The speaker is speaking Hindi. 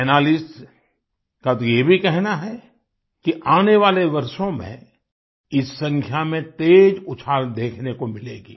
एनालिस्ट्स का तो ये भी कहना है कि आने वाले वर्षों में इस संख्या में तेज उछाल देखने को मिलेगी